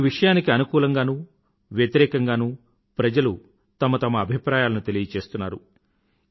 ఈ విషయానికి అనుకూలంగానూ వ్యతిరేకంగానూ ప్రజలు తమ తమ అభిప్రాయాలను తెపియచేస్తున్నారు